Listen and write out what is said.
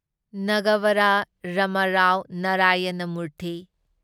Nagavara Ramarao Narayana Murthy